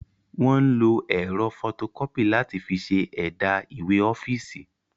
Wọ́n ń lo ẹ̀rọ fọtokọ́pì láti fi ṣe ẹ̀dà ìwé ọ́fíìsì.